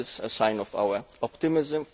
This is a sign of our optimism.